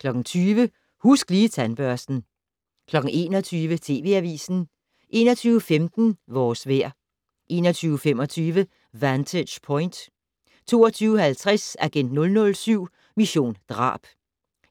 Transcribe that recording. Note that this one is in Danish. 20:00: Husk Lige Tandbørsten 21:00: TV Avisen 21:15: Vores vejr 21:25: Vantage Point 22:50: Agent 007 - Mission drab